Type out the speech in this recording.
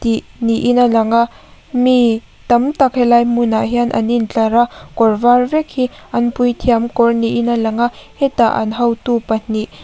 ni niin a lang a mi tamtak helai hmunah hian an intlar a kawr var vek hi an puithiam kawr niin a lang a hetah an hotu pahnih --